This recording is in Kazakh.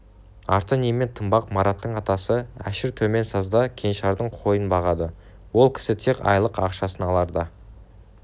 арты немен тынбақ мараттың атасы әшір төменсазда кеңшардың қойын бағады ол кісі тек айлық ақшасын аларда